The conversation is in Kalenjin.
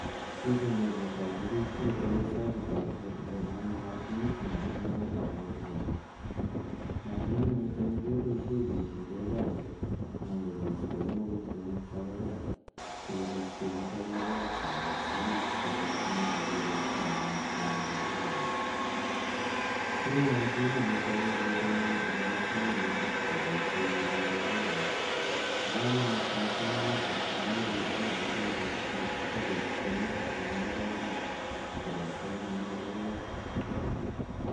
Pichani koparu piik che katelelso ako tagu kole namei mashinit na king'ae kaweek icheget. Mashininitoni kepaishe kichurei kaweek anan ko keistaei mogotionik cha pa parak si kopiit keng'et ak logoek cha pa oriit chotok che imuchi kepaishe anyun ip keng'aa koiik kaweek. Kitinye mashinitok eng' korenyu ako mashininitok kepaishe kechurei kaweek. Pa kamanuut missing' mashininitok amu ichuri kaweek eng' chakchinet ako istai mogotioniik ichegei kopate maipei logoek